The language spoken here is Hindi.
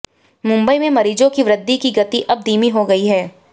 मुंबई में मरीजों की वृद्धि की गति अब धीमी हो गई है